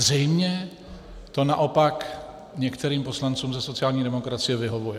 Zřejmě to naopak některým poslancům ze sociální demokracie vyhovuje.